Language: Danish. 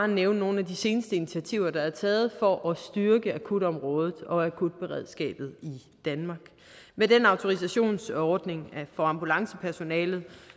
nævne nogle af de seneste initiativer der er taget for at styrke akutområdet og akutberedskabet i danmark med den autorisationsordning for ambulancepersonalet